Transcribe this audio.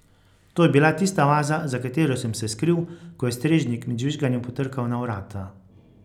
To je bila tista vaza, za katero sem se skril, ko je strežnik med žvižganjem potrkal na vrata.